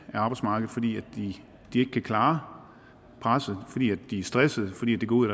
arbejdsmarkedet fordi de ikke kan klare presset fordi de er stressede fordi det går ud